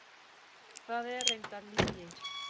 Það er reyndar lygi.